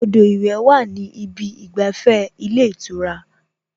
Odò ìwẹ̀ wà ní ìbi ìgbàfẹ́ ilé ìtura